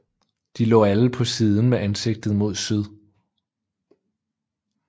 De lå alle på siden med ansigtet mod syd